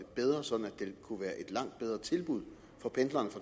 bedre sådan at det kunne være et langt bedre tilbud for pendlerne